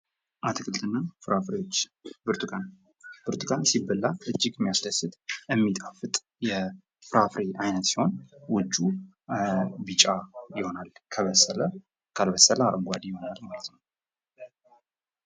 አትክልትና ፍራፍሬዎች ብርቱካን:-ብርቱካን ሲበላ እጅግ የሚያስደስት የሚጣፍጥ የፍራፍሬ አይነት ሲሆን ውጩ ቢጫ ይሆናል ከበሰለ፣ ካልበሰለ አረንጓዴ ይሆናል ማለት ነው ።